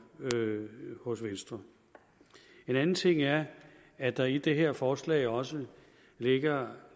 hos venstre en anden ting er at der i det her forslag også ligger